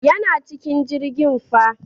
Yana cikin jirgin fa.